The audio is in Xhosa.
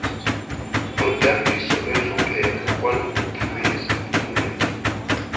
nodambiso lwentlupheko kwanokuphumeza